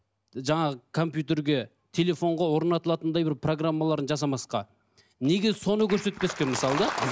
жаңағы компьютерге телефонға орнатылатындай бір программаларын жасамасқа неге соны көрсетпеске мысалы да